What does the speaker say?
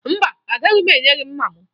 Mba, agaghị m enye gị mma m